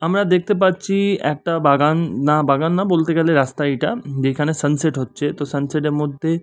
আমরা দেখতে পাচ্ছি-ই একটা বাগান না বাগান না বলতে গেলে রাস্তাই এটা যেখানে সানসেট হচ্ছে তো সানসেট এর মধ্যে--